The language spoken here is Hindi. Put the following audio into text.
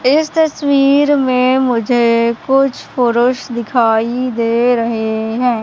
इस तस्वीर में मुझे कुछ पुरुष दिखाई दे रहे हैं।